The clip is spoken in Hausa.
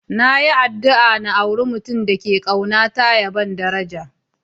Na yi addu'a n'aura mutum da ke kauna na kuma ya ban daraja.